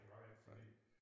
Det var det ikke fordi